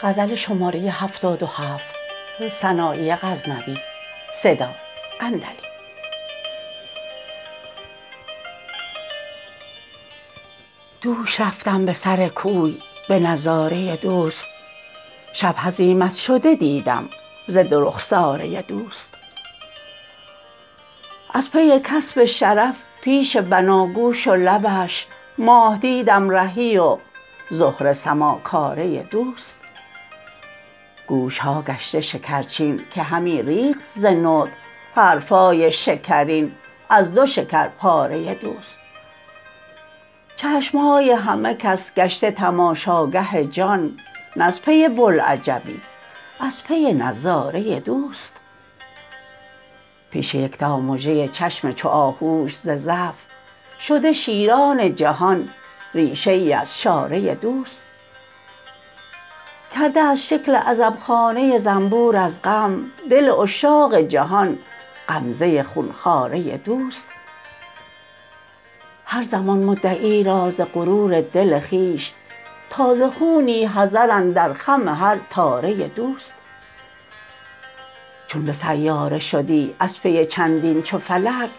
دوش رفتم به سر کوی به نظاره دوست شب هزیمت شده دیدم ز دو رخساره دوست از پی کسب شرف پیش بناگوش و لبش ماه دیدم رهی و زهره سماکاره دوست گوش ها گشته شکرچین که همی ریخت ز نطق حرف های شکرین از دو شکرپاره دوست چشم های همه کس گشته تماشاگه جان نز پی بلعجبی از پی نظاره دوست پیش یکتامژه چشم چو آهوش ز ضعف شده شیران جهان ریشه ای از شاره دوست کرده از شکل عزب خانه زنبور از غم دل عشاق جهان غمزه خونخواره دوست هر زمان مدعی را ز غرور دل خویش تازه خونی حذر اندر خم هر تاره دوست چون به سیاره شدی از پی چندین چو فلک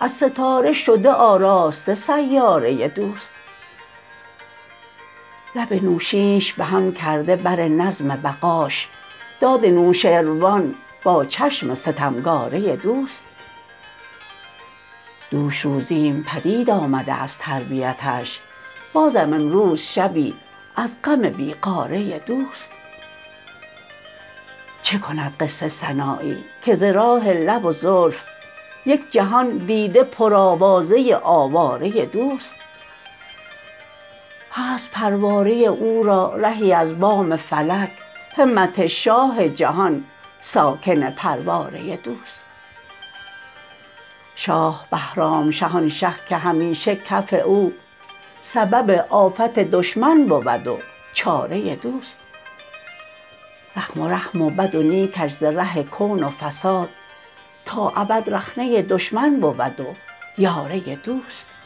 از ستاره شده آراسته سیاره دوست لب نوشینش بهم کرده بر نظم بقاش داد نوشروان با چشم ستمگاره دوست دوش روزیم پدید آمده از تربیتش بازم امروز شبی از غم بی غاره دوست چه کند قصه سنایی که ز راه لب و زلف یک جهان دیده پر آوازه آواره دوست هست پرواره او را رهی از بام فلک همت شاه جهان ساکن پرواره دوست شاه بهرامشه آن شه که همیشه کف او سبب آفت دشمن بود و چاره دوست زخم و رحم و بد و نیکش ز ره کون و فساد تا ابد رخنه دشمن بود و یاره دوست